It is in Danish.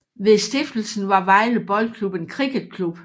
Ved stiftelsen var Vejle Boldklub en cricketklub